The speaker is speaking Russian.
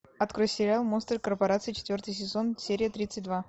открой сериал монстры корпорации четвертый сезон серия тридцать два